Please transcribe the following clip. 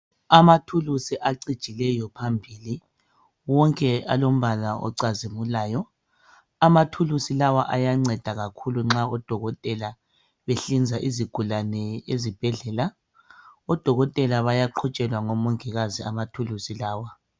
Izikhali ezicijileyo phambili zonke zilombala ocazimulayo izikhali lezi ziyanceda kakhulu nxa behlinza izigulane esibhedlela. Odokotela bayaqhutshelwa ngomongikazi izikhali lezi